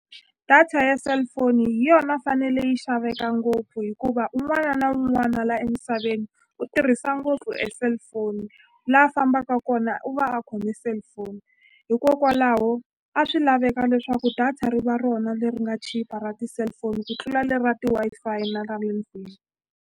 Data ya cellphone hi yona fanele yi xaveka ngopfu hikuva un'wana na un'wana la emisaveni u tirhisa ngopfu e cellphone la a fambaka kona u va a khome cellphone hikokwalaho a swi laveka leswaku data ri va rona leri nga chipa ra ti-cellphone ku tlula leri ra ti Wi-Fi na ra le ndlwini.